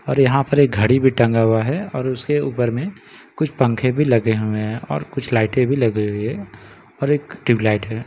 और यहाँ पर एक घड़ी भी टंगा हुआ है और उसके ऊपर में कुछ पंखे भी लगे हुए हैं और कुछ लाइटें भी लगी हुई है और एक ट्यूबलाइट है।